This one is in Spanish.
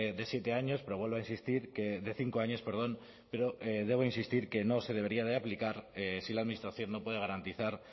de siete años pero vuelvo a insistir que de cinco años perdón pero debo insistir que no se debería de aplicar si la administración no puede garantizar